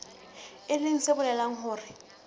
e leng se bolelang hore